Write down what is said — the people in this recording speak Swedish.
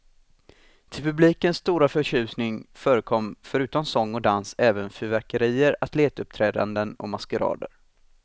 Till publikens stora förtjusning förekom förutom sång och dans även fyrverkerier, atletuppträdanden och maskerader.